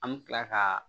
An bɛ tila ka